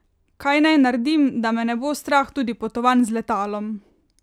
Kaj naj naredim, da me ne bo strah tudi potovanj z letalom?